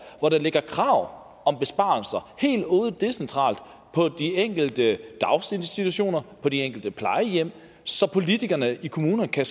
hvor der ligger krav om besparelser helt ude decentralt på de enkelte daginstitutioner og på de enkelte plejehjem så politikerne i kommunerne kan